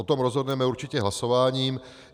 O tom rozhodneme určitě hlasováním.